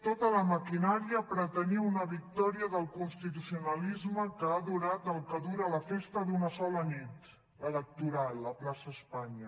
tota la maquinària pretenia una victòria del constitucionalisme que ha durat el que dura la festa d’una sola nit electoral a la plaça espanya